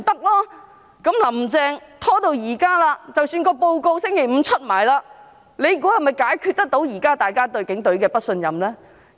"林鄭"拖延至今，即使報告在星期五發表，大家猜想，這能否解決現時大家對警隊不信任的問題？